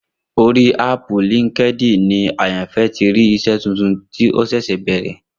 Orí áàpù LinkedIn ni Àyànfẹ́ ti rí iṣẹ́ tuntun tó ṣẹ̀ṣẹ̀ bẹ̀rẹ̀